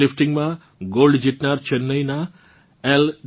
weight લિફ્ટીંગમાં gold જીતનાર ચેન્નઇનાં એલ